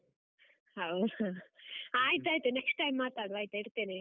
ಹೌದಾ, ಆಯ್ತಾಯ್ತು next time ಮಾತಾಡುವ ಆಯ್ತಾ ಇಡ್ತೇನೆ?